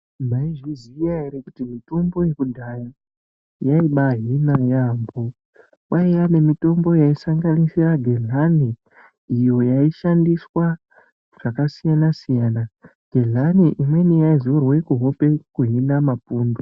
Mwaizviziya ere kuti mitombo yekudhaya ,yaibaahina yaampho. Kwaiya nemitombo yaisanganisira gedhlani ,iyo yaishandiswa zvakasiyana-siyana. Gedhlani imweni yaizorwe kuhope kuhina mapundu.